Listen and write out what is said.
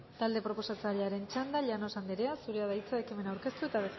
talde proposatzailearen txanda llanos anderea zurea da hitza ekimen aurkeztu eta